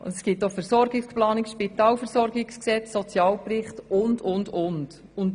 Es gibt auch Versorgungsplanungen: das Spitalversorgungsgesetz, den Sozialbericht und so weiter.